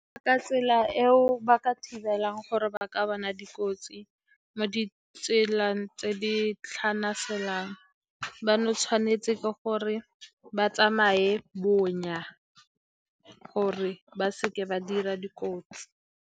Ka tsela eo ba ka thibelang gore ba ka bona dikotsi mo ditseleng tse di tlhanaselang, ba no tshwanetse ke gore ba tsamaye bonya gore ba seke ba dira dikotsi.